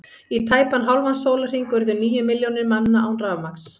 Í tæpan hálfan sólarhring urðu níu milljónir manna án rafmagns.